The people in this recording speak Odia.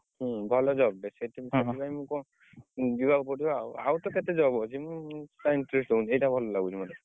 ହୁଁ ଭଲ job ଟେ ଯିବାକୁ ପଡିବ ଆଉ, ଆଉ ତ କେତେ job ଅଛି ମୁଁ କାହିଁକି interest ଏଇଟା ଭଲ ଲାଗୁଛି ମତେ।